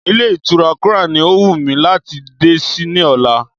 Ilé ìtura crown ni ó wù mí láti dé sí ní ọ̀la.